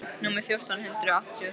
númer fjórtán hundruð áttatíu og þrjú.